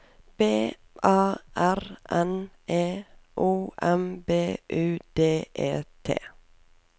B A R N E O M B U D E T